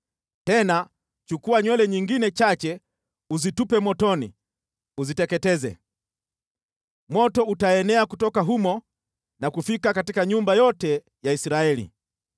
Tena chukua nywele nyingine chache uzitupe motoni uziteketeze. Moto utaenea kutoka humo na kufika katika nyumba yote ya Israeli.